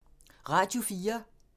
Radio 4